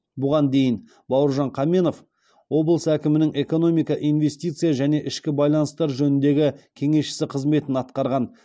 бұған дейін бауыржан қаменов облыс әкімінің экономика инвестиция және ішкі байланыстар жөніндегі кеңесшісі қызметін атқарған